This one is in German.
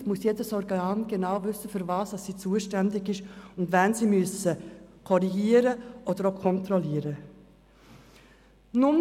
Jederzeit muss jedes Organ genau wissen, wofür es zuständig ist und wen man korrigieren oder kontrollieren muss.